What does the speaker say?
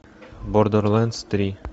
бордерлендс три